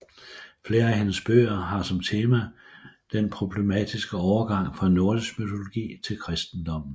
Flere af hendes bøger har som tema den problematiske overgang fra nordisk mytologi til kristendommen